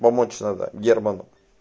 помочь надо герману